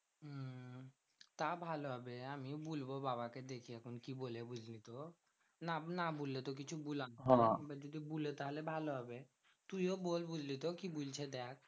তা ভালো হবে আমিও বুলবো বাবাকে দেখি এখন কি বলে বুঝলি তো? না না বুল্লে কিছু এবার যদি বুলে তাহলে ভালো হবে। তুইও বল বুঝলি তো কি বুলছে দেখ?